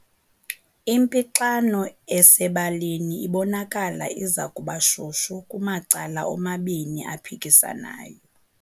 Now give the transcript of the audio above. Impixano esebalini ibonakala iza kuba shushu kumacala omabini aphikisanayo.